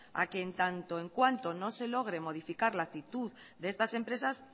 a que en tanto en cuanto no se logre modificar la actitud de estas empresas